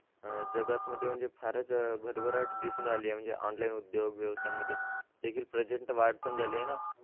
अह जगात म्हणजे फारच भरभराट दिसून आलेली आहे म्हणजे online उद्योग व्यवसायामध्ये देखील प्रचंड वाढ पण झाली आहे ना